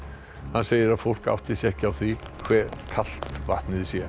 hann segir að fólk átti sig ekki á því hve kalt vatnið sé